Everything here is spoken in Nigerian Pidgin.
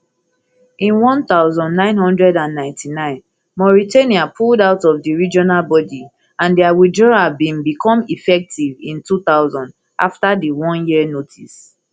in one thousand, nine hundred and ninety-nine mauritania pulled out of di regional body and dia withdrawal bin become effective in two thousand afta di oneyear notice